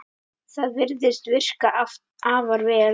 Það virðist virka afar vel.